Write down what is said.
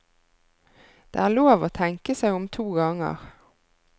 Det er lov å tenke seg om to ganger.